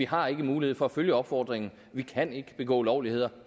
har mulighed for at følge opfordringen vi kan ikke begå ulovligheder